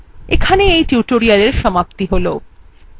এখানেই এই tutorial সম্পতি হল